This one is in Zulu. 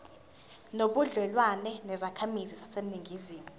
nobudlelwane nezakhamizi zaseningizimu